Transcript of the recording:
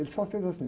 Ele só fez assim...